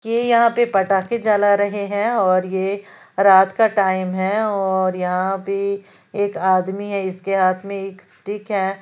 ये यहां पे पटाखे जला रहे हैं और ये रात का टाइम है और यहां पे एक आदमी है इसके हाथ में एक स्टिक है।